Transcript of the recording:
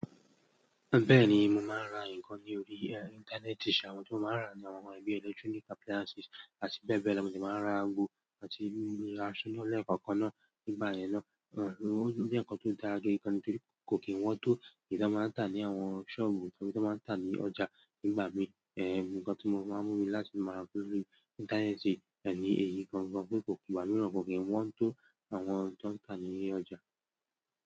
Bẹ́ẹ̀ ni, mo máa ń ra nǹkan ní orí íńtánẹ́ẹ̀tì, ṣùgbọ́n ohun tí mo máa ń rà ni àwọn ohun bí i electronic appliances àti bẹ́ẹ̀ bẹ́ẹ̀ lọ. Mo sì máa ń ra aago àti ra aṣọ náà lẹ́ẹ̀kọ̀ọ̀kan náà. Nígbà yẹn náà, ẹ̀ ń rántí pé ń kán tó dára gẹ́gẹ́ kò kí wọ́n tó kì í dà ní àwọn sọ́ọ̀bù tàbí tó máa ń tà ní ọjà. Nígbà mi, ẹ̀ ń rántí pé ohun tí mo máa ń mú ní láti máa ra lórí íńtánẹ́ẹ̀tì ní èyí kan náà kò kí wọ́n tó àwọn ohun tí wọ́n ń tà ní ilé ọjà.